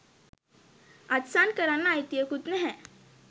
අත්සන් කරන්න අයිතියකුත් නැහැ